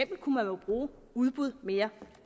kunne man jo bruge udbud mere